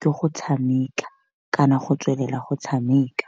ke go tshameka kana go tswelela go tshameka.